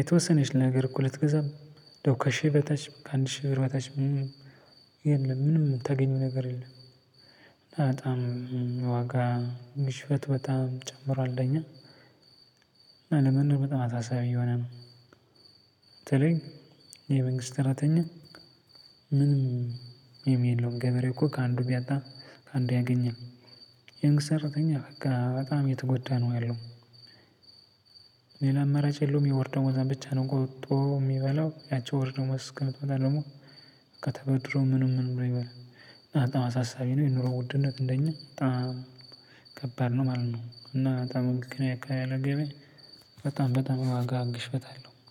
የተወሰነች ነገርኮ ልትገዛ እንዳው ከሺህ በታች ከአንድ ሺህ ብር በታች ምንም የለም ምንም ምታገኘው ነገር የለም። እና በጣም የዋጋ ግዥበት በጣም ጨምሯል ከእኛ። እና ለመኖር በጣም አሳሳቢ እየሆነ ነው። ተለይ የመንግስት ሰራተኛ ምንም የለውም ገበሬ እኮ ከአንዱ ቢያጣ ከአንዱ ያገኛል የመንግስት ሰራተኛ በጣም የተጎዳ ነው ያለው። ሌላ አማራጭ የለውም የወር ደሞዟን ብቻ ነው ቆጥቦ የሚበላው ያቺ የወር ደሞዝ አስከምትመጣ ደግሞ በቃ ተበድሮ ምንም ምንም ብሎ ይበላል። እና አሳሳቢ ነው የኑሮ ውድነት እንደኛ በጣም ከባድ ነው ማለት ነው። እና በጣም እኛ አካባቢ ያለ ገበያ በጣም በጣም የዋጋ ግሽበት አለው